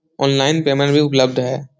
Online payment भी उपलब्ध है।